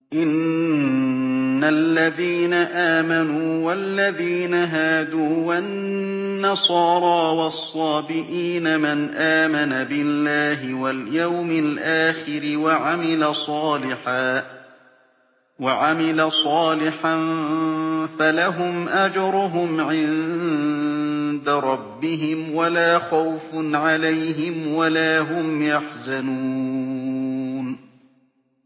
إِنَّ الَّذِينَ آمَنُوا وَالَّذِينَ هَادُوا وَالنَّصَارَىٰ وَالصَّابِئِينَ مَنْ آمَنَ بِاللَّهِ وَالْيَوْمِ الْآخِرِ وَعَمِلَ صَالِحًا فَلَهُمْ أَجْرُهُمْ عِندَ رَبِّهِمْ وَلَا خَوْفٌ عَلَيْهِمْ وَلَا هُمْ يَحْزَنُونَ